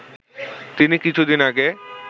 তিনি কিছুদিন আগে